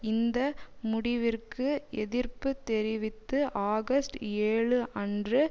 இந்த முடிவிற்கு எதிர்ப்பு தெரிவித்து ஆகஸ்ட் ஏழு அன்று